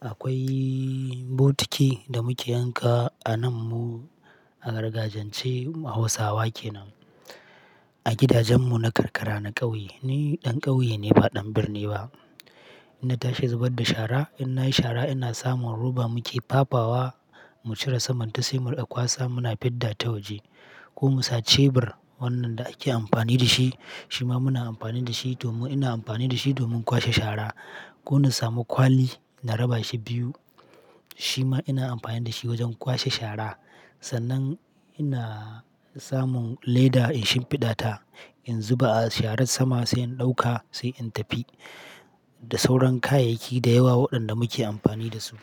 akwai botiki da muke yanka a nan mu, a gargajiyance Hausawa kenan. A gidajen mu na karkara, na ƙauye. Ni ɗan ƙauye ne ba ɗan birni ba. Ina tashi in zubar da shara. Inna yi shara ina samun roba muke fafawa mu cire saman ta sai mu riƙa kwasa muna fidda ta waje ko mu sa cebir wannan da ake amfani da shi, shi ma muna amfani da shi domin, ina amfani da shi domin kwashe shara ko na samu kwali na raba shi biyu. Shi ma ina amfani da shi wajen kwashe shara. Sannan ina samun leda in shimfiɗa ta in zuba a sharar sama sai in ɗauka sai in tafi. Da sauran kayayyaki da yawa waɗanda muke amfani da su.